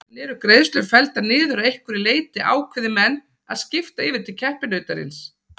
En eru greiðslur felldar niður að einhverju leyti ákveði menn að skipta yfir til keppinautarins?